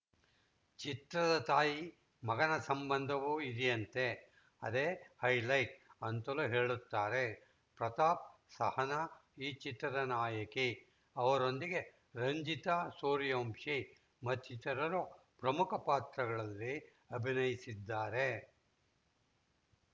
ಚಿತ್ರದ ತಾಯಿ ಮಗನ ಸಂಬಂಧವೂ ಇದೆಯಂತೆ ಅದೇ ಹೈಲೈಟ್‌ ಅಂತಲೂ ಹೇಳುತ್ತಾರೆ ಪ್ರತಾಪ್‌ ಸಹನಾ ಈ ಚಿತ್ರದ ನಾಯಕಿ ಅವರೊಂದಿಗೆ ರಂಜಿತಾ ಸೂರ್ಯವಂಶಿ ಮತ್ತಿತರರು ಪ್ರಮುಖ ಪಾತ್ರಗಳಲ್ಲಿ ಅಭಿನಯಿಸಿದ್ದಾರೆ